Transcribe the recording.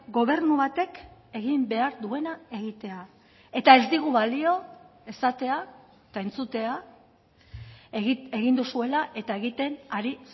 gobernu batek egin behar duena egitea eta ez digu balio esatea eta entzutea egin duzuela eta egiten ari